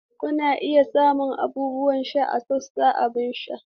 Kuna iya samun abubuwan sha a sashin abin sha.